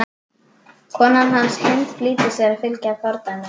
Kona hans, Hind, flýtir sér að fylgja fordæmi hans.